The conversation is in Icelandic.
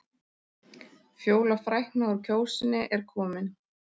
Fjóla frækna úr Kjósinni er komin.